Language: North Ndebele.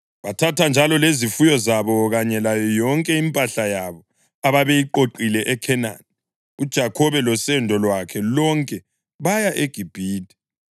Bathatha njalo lezifuyo zabo kanye layo yonke impahla yabo ababeyiqoqile eKhenani, uJakhobe losendo lwakhe lonke baya eGibhithe.